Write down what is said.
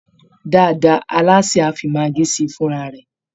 Dáadáa, alásè á fi maggi sí i fúnra rẹ̀